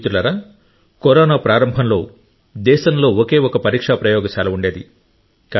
మిత్రులారా కరోనా ప్రారంభంలో దేశంలో ఒకే ఒక పరీక్షా ప్రయోగశాల ఉండేది